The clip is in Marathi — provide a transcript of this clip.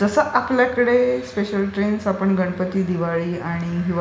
जसं आपल्याकडे आपण स्पेशल ट्रेन्स आपण गणपती, दिवाळी आणि